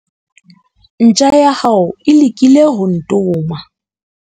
Ntja ya hao e lekile ho ntoma.